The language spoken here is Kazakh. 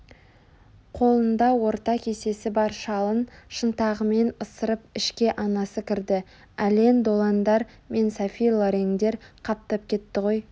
Қолында орта кесесі бар шалын шынтағымен ысырып ішке анасы кірді ален делондар мен софи лореңдер қаптап кетті ғой